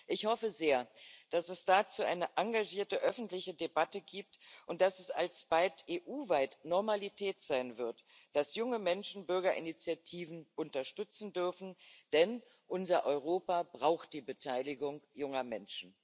Ich hoffe sehr, dass es dazu eine engagierte öffentliche Debatte gibt und dass es alsbald EU weit Normalität sein wird, dass junge Menschen Bürgerinitiativen unterstützen dürfen, denn unser Europa braucht die Beteiligung junger Menschen.